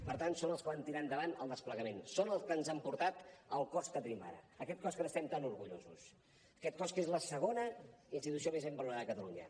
per tant són els que van tirar endavant el desplegament són els que ens han portat al cos que tenim ara aquest cos que n’estem tan orgullosos aquest cos que és la segona institució més ben valorada de catalunya